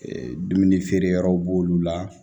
Ee dumuni feere yɔrɔw b'olu la